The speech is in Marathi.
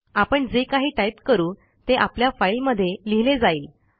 आपण जे काही टाईप करू ते आपल्या फाईलमध्ये लिहिले जाईल